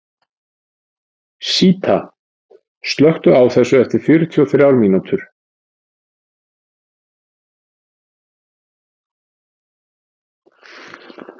Síta, slökktu á þessu eftir fjörutíu og þrjár mínútur.